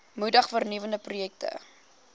moedig vernuwende projekte